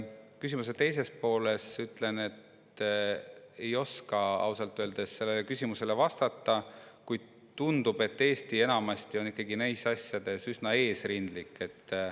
Küsimuse teise poole kohta ütlen, et ei oska ausalt öeldes sellele küsimusele vastata, kuid tundub, et Eesti on neis asjades enamasti üsna eesrindlik.